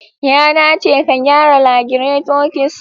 Ya dace ka gyara lagireto ks